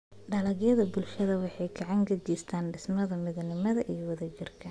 Dalagyada bulshadu waxay gacan ka geystaan ??dhismaha midnimada iyo wadajirka.